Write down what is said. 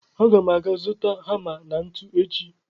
Aga m ga zụta hama na ntu echi